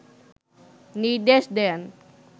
নির্দেশ দেন